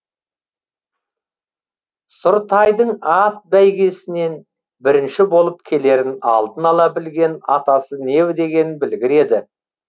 сұр тайдың ат бәйгесінен бірінші болып келерін алдын ала білген атасы не деген білгір еді